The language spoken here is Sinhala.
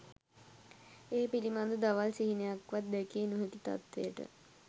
ඒ පිළිබඳ දවල් සිහිනයක්වත් දැකිය නොහැකි තත්ත්වයට